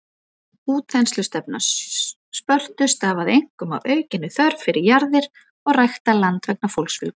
Útþenslustefna Spörtu stafaði einkum af aukinni þörf fyrir jarðir og ræktað land vegna fólksfjölgunar.